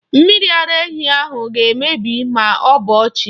Mmiri ara ehi ahụ ga-emebi ma ọ bọọ chi.